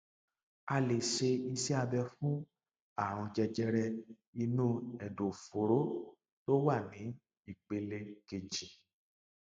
ìkánjẹ tí wọn níwò léjè ìṣan isalẹ rẹ lower esophageal um sphincter ló lè jẹ kó